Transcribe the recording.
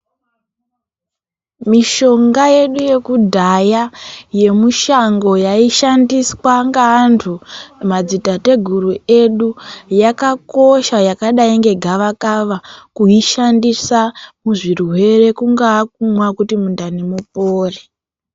Mishonga yedu yekudhaya yaishandiswa nemadzitateguru edu yakakosha yakadi nge gavakava kuyishandisa muzvirwere kungava kuti mundani mupore.